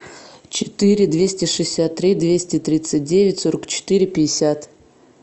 четыре двести шестьдесят три двести тридцать девять сорок четыре пятьдесят